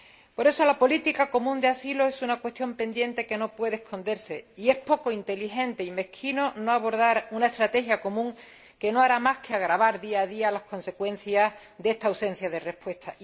Por eso, la política común de asilo es una cuestión pendiente que no puede esconderse y es poco inteligente y mezquino no abordar una estrategia común, lo que no hará más que agravar día a día las consecuencias de esta ausencia de respuesta.